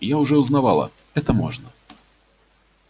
я уже узнавала это можно